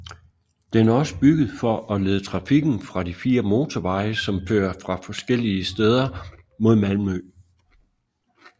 Den er også bygget for at lede trafikken fra de fire motorveje som fører fra forskellige steder mod Malmø